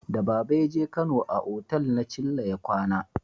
Da baba ya je kano, a otal na chilla ya kwana